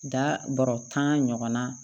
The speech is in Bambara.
Da bɔrɔ tan ɲɔgɔnna